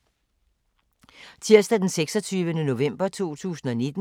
Tirsdag d. 26. november 2019